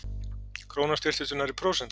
Krónan styrktist um nærri prósent